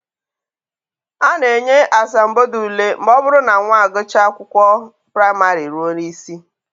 A na-enye asambodo ule ma ọ bụrụ na nwa akwụkwọ gụchaa praịmarị ruo n'isi